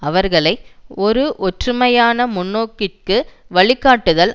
அவர்களை ஒரு ஒற்றுமையான முன்னோக்கிற்கு வழிகாட்டுதல்